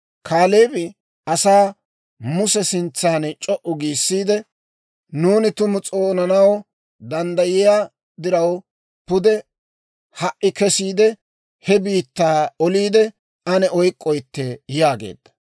Kaaleebi asaa Muse sintsan c'o"u giissiide, «Nuuni tumu s'oonanaw danddayiyaa diraw, pude ha"i kesiide, he biittaa oliide ane oyk'k'oytte» yaageedda.